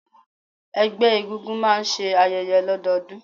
Ẹgbẹ́ egúngún máà ń ṣe ayẹyẹ lọdọọdun.